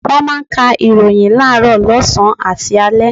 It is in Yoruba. Wọ́n máa ń ka ìròyìn láàárọ̀, lọ́sàn-án àti lálẹ́.